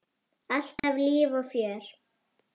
Alltaf líf og fjör.